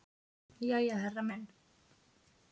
Jæja, herra minn.